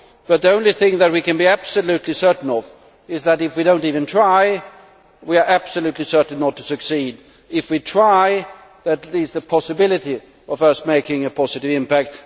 not. But the only thing that we can be absolutely certain of is that, if we do not even try, we are absolutely certain not to succeed. If we try, at least there is the possibility of us making a positive impact.